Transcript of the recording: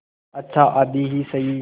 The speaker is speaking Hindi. अच्छा आधी ही सही